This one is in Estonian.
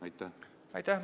Aitäh!